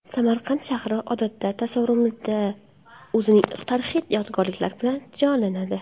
Samarqand shahri odatda tasavvurimizda o‘zining tarixiy yodgorliklari bilan jonlanadi.